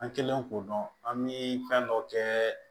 An kɛlen k'o dɔn an bi fɛn dɔ kɛ